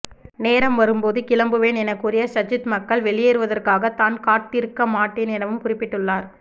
நேரம் வரும்போது கிளம்புவேன் எனக்கூறிய சஜித் மக்கள் வெளியேறுவதற்காக தான் காட்திருக்க மாட்டேன் எனவும் குறிப்பிட்டுள்ளார்